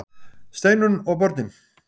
STEINUNN OG BÖRNIN